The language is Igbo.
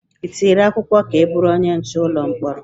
Ị tinyere akwụkwọ ka ị bụrụ onye nche ụlọ mkpọrọ?